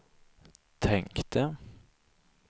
tänkte